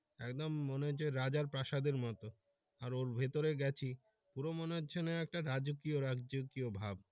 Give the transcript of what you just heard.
একদম মনে হচ্ছে রাজার প্রাসাদের মতো আর ভিতরে গেছি পুরো মনে হচ্ছে না একটা রাজকীয় রাজকীয় ভাব।